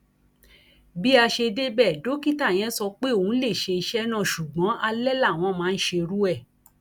bí a ṣe débẹ dókítà yẹn sọ pé òun lè ṣe iṣẹ náà ṣùgbọn alẹ làwọn máa ń ṣerú ẹ